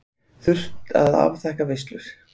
Þurft að afþakka veislur.